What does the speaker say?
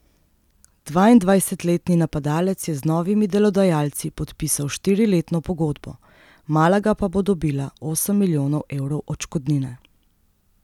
Dvaindvajsetletni napadalec je z novimi delodajalci podpisal štiriletno pogodbo, Malaga pa bo dobila osem milijonov evrov odškodnine.